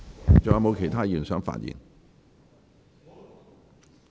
是否還有其他議員想發言？